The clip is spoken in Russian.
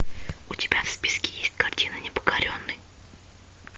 у тебя в списке есть картина непокоренный